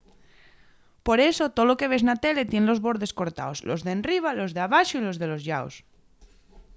por eso tolo que ves na tele tien los bordes cortaos los d’enriba los d’abaxo y los de los llaos